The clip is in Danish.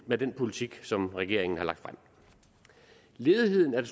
med den politik som regeringen har lagt frem ledigheden er